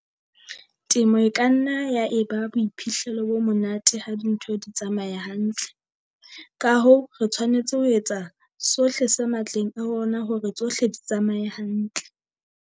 Temo e ka nna ya eba boiphihlelo bo monate ha dintho di tsamaya hantle. Ka hoo, re tshwanetse ho etsa sohle se matleng a rona hore tsohle di tsamaye hantle.